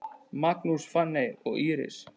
Magnús, Fanney og Íris.